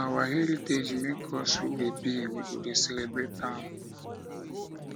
na our heritage make us who we be we go dey celebrate am